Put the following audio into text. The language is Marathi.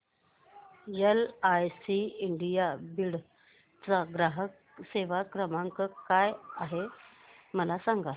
एलआयसी इंडिया बीड चा ग्राहक सेवा क्रमांक काय आहे मला सांग